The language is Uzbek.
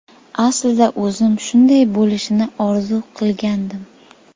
Aslida o‘zim shunday bo‘lishini orzu qilgandim.